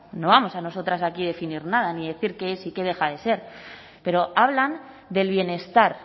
no vamos nosotras aquí a definir nada ni decir qué es y qué deja de ser pero hablan del bienestar